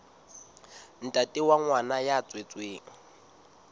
ntate wa ngwana ya tswetsweng